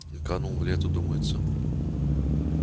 и канул в лету думается